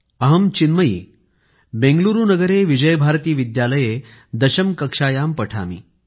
अहं चिन्मयी बेंगलुरू नगरे विजयभारती विद्यालये दशम कक्ष्यायां पठामि